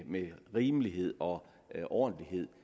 med rimelighed og ordentlighed